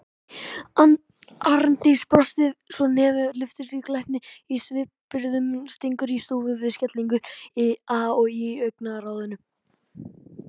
Arndís brosir svo nefið lyftist, glettnin í svipbrigðunum stingur í stúf við skelfinguna í augnaráðinu.